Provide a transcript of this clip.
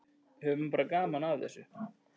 Höfum bara gaman af þessu.